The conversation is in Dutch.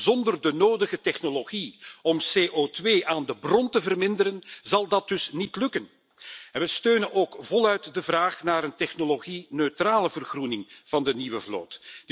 Zonder de nodige technologie om CO2 aan de bron te verminderen zal dat dus niet lukken en we steunen ook voluit de vraag naar een technologie neutrale vergroening van de nieuwe vloot.